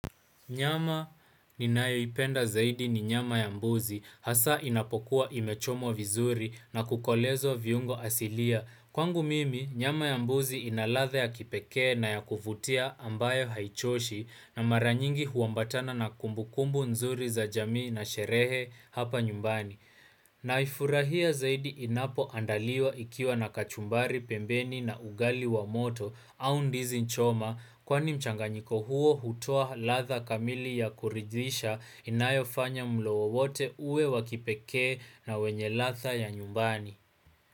Nyama ninayoipenda zaidi ni nyama ya mbuzi, hasa inapokuwa imechomwa vizuri na kukolezwa viungo asilia. Kwangu mimi, nyama ya mbuzi ina ladha ya kipekee na ya kuvutia ambayo haichoshi na mara nyingi huambatana na kumbukumbu nzuri za jamii na sherehe hapa nyumbani. Naifurahia zaidi inapoandaliwa ikiwa na kachumbari pembeni na ugali wa moto au ndizi choma kwani mchanganyiko huo hutoa ladha kamili ya kuridhisha inayofanya mlo wowote uwe wa kipekee na wenye ladha ya nyumbani.